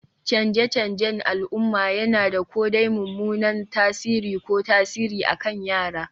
Canje-canjen al'umma yana da ko dai mummunan tasiri ko tasiri akan yara